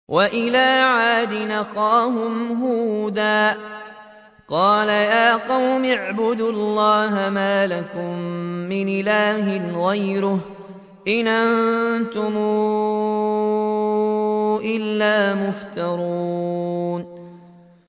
وَإِلَىٰ عَادٍ أَخَاهُمْ هُودًا ۚ قَالَ يَا قَوْمِ اعْبُدُوا اللَّهَ مَا لَكُم مِّنْ إِلَٰهٍ غَيْرُهُ ۖ إِنْ أَنتُمْ إِلَّا مُفْتَرُونَ